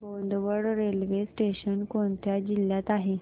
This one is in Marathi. बोदवड रेल्वे स्टेशन कोणत्या जिल्ह्यात आहे